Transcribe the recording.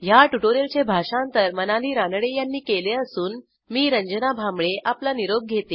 ह्या ट्युटोरियलचे भाषांतर मनाली रानडे यांनी केले असून मी रंजना भांबळे आपला निरोप घेते160